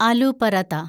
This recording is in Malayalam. ആലു പറാത്ത